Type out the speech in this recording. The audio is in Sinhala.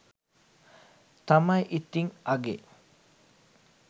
තමයි ඉතින් අගේ.